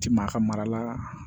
Ti maa ka mara